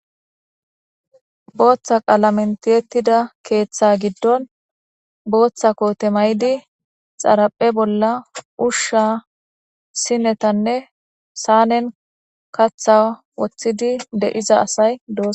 Booththa qalamen tiyettida keeththa giddon booththa koote mayidi xaraphe bolla ushsha sinetanne saanen katha woththidi de7iza asay dos.